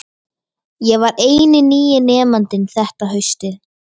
Ég var eini nýi nemandinn þetta haustið.